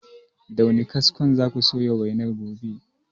Da wane kaskon za ku soya wainar rogon?